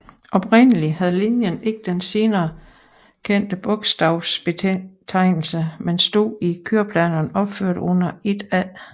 Oprindelig havde linjen ikke den senere kendte bogstavbetegnelse men stod i køreplanerne opført under 1A